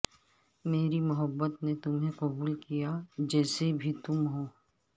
میری محبت نے تمہیں قبول کیا جیسے بھی تم ہو